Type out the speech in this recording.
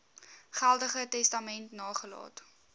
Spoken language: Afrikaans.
geldige testament nagelaat